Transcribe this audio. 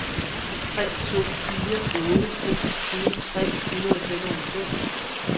tre to fire otte seksogtyve tre hundrede og femoghalvfems